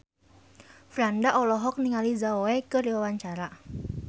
Franda olohok ningali Zhao Wei keur diwawancara